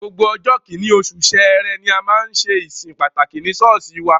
Gbogbo ọjọ́ kìíní, oṣù Sẹrẹ ni a máa ń ṣe ìsìn pàtàkì ní ṣọ́ọ̀ṣì wa.